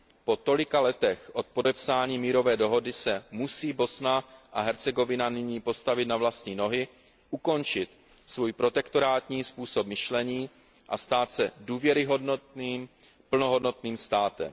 Po tolika letech od podepsání mírové dohody se musí Bosna a Hercegovina nyní postavit na vlastní nohy, ukončit svůj protektorátní způsob myšlení a stát se důvěryhodným plnohodnotným státem.